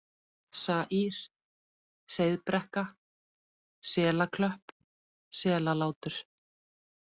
Saír, Seiðbrekka, Selaklöpp, Selalátur